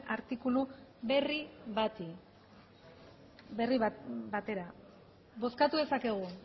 artikulu berri bati berri batera bozkatu dezakegu